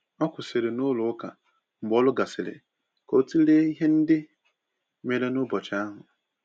O kwụsịrị n'ụlọ ụka mgbe ọrụ gasịrị ka ọ tụlee ihe ndị mere n’ụbọchị ahụ.